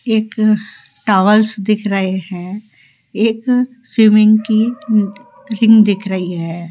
एक टॉवल्स दिख रहे है एक स्विमिंग की रिंग दिख रही है।